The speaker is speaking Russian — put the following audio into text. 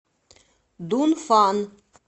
дунфан